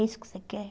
É isso que você quer?